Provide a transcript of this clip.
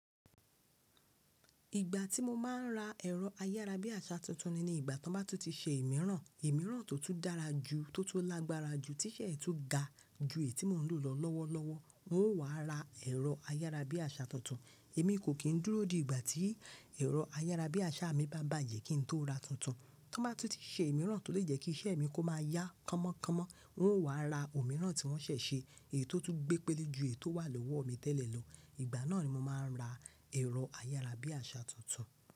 Ìgbà tí mo má a n ra ẹ̀rọ ayára bí àṣà tuntun ni nígbà tí wọ́n bá túntì ṣe ìmíràn, ìmíràn tó tún dára jù, tó tó lágbára jù, tí iṣẹ́ ẹ tú ga ju èyí tí mò ń lò lọ lọ́wọ́lọ́wọ́. Mo ó wàá ra ẹ̀rọ ayára bí àṣà tuntun. Èmi kò kín dúró di ìgbà tí ẹ̀rọ ayára bí àṣà mi bá bàjẹ́ kí n tó ra tuntun. Tí wọ́n bá túntì ṣe ìmíràn tó lè jẹ́ kí iṣẹ́ mi kó má a yá kámọ́ kámọ́, n ó wàá ra òmíràn tí wọ́n ṣẹ̀ ṣe, èyí tó tún gbẹ́ pẹ́lé ju èyí tó wà lọ́wọ́ mi tẹ́lẹ̀ lọ. Ìgbà náà ni mo má a ń ra ẹ̀rọ ayára bí àṣà tuntun.